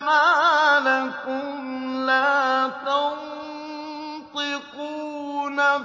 مَا لَكُمْ لَا تَنطِقُونَ